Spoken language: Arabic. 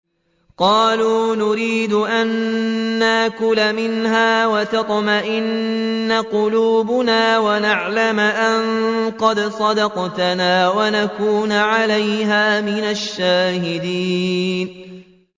قَالُوا نُرِيدُ أَن نَّأْكُلَ مِنْهَا وَتَطْمَئِنَّ قُلُوبُنَا وَنَعْلَمَ أَن قَدْ صَدَقْتَنَا وَنَكُونَ عَلَيْهَا مِنَ الشَّاهِدِينَ